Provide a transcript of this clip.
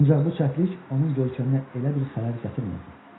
Ancaq bu çəplik onun görkəminə elə bir xələl gətirmirdi.